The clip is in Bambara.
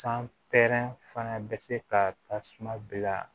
San pɛrɛn fana bɛ se ka tasuma bila